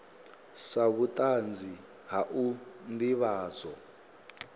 sa vhutanzi ha u ndivhadzo